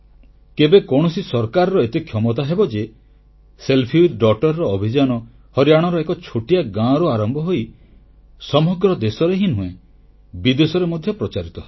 କେବେ କୌଣସି ସରକାରର ଏତେ କ୍ଷମତା ହେବ ଯେ ଝିଅ ସହ ସେଲଫି ସେଲଫି ୱିଥ୍ Daughterର ଅଭିଯାନ ହରିୟାଣାର ଏକ ଛୋଟିଆ ଗାଁରୁ ଆରମ୍ଭ ହୋଇ ସମଗ୍ର ଦେଶରେ ହିଁ ନୁହେଁ ବିଦେଶରେ ମଧ୍ୟ ପ୍ରଚାରିତ ହେବ